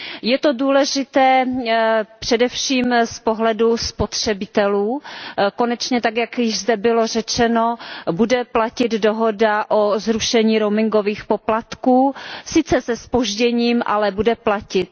Je to důležité především z pohledu spotřebitelů, konečně tak, jak zde již bylo řečeno, bude platit dohoda o zrušení roamingových poplatků, sice se zpožděním, ale bude platit.